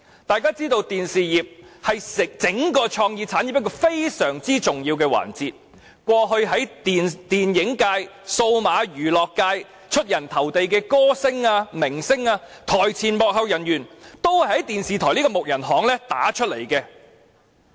大家也知道電視業是整個創意產業一個非常重要的環節，過去在電影界、數碼娛樂界出人頭地的歌星、明星、台前幕後工作人員，全都首先在電視台這"木人巷"打響名堂。